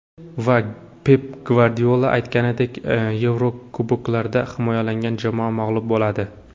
Va, Pep Gvardiola aytganidek, Yevrokuboklarda himoyalangan jamoa mag‘lub bo‘ladi.